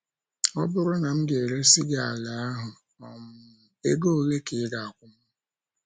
Ọ bụrụ na m éresị gị ala ahụ um, ego ole ka ị ga - akwụ m?